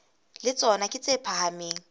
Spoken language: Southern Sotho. le tsona ke tse phahameng